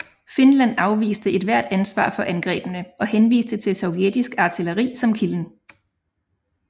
Finland afviste ethvert ansvar for angrebene og henviste til sovjetisk artilleri som kilden